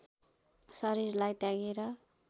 शरीरलाई त्यागेर